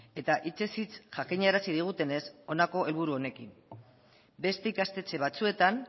eta hitzez hitz jakinarazi digutenez honako helburu honekin beste ikastetxe batzuetan